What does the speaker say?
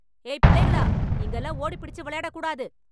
ஏய் பிள்ளைகளா.... இங்கெல்லாம் ஓடிப் பிடிச்சு வெளையாடக் கூடாது.